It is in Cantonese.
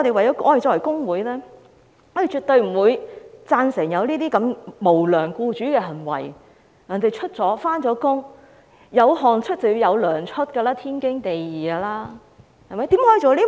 因此，作為工會成員，我們絕對不會贊成這種無良僱主的行為，既然別人工作了，"有汗出便應該有糧出"，這是天經地義的。